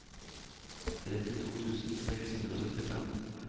trettito tusen seks hundre og syttifem